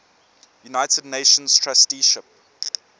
united nations trusteeship